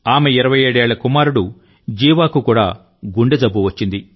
ఆమె 27 ఏళ్ల కుమారుడు జీవాకు కూడా గుండె జబ్బువచ్చింది